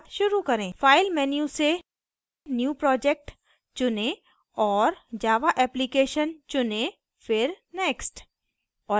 file menu से new project चुनें और java application चुनें फिर next